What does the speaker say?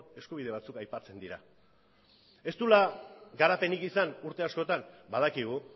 eskubide batzuk aipatzen dira ez duela garapenik izan urte askotan badakigu